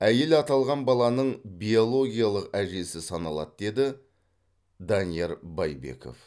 әйел аталған баланың биологиялық әжесі саналады деді данияр байбеков